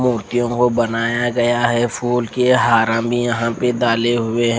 क्युकी वो बनाया गया है फूल की ये हरा में ये डाले गये है।